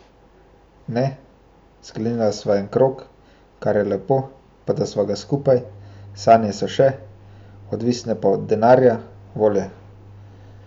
Ne, sklenila sva en krog, kar je lepo, pa da sva ga skupaj, sanje so še, odvisne pa od denarja, volje.